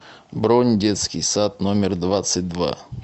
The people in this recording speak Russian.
бронь детский сад номер двадцать два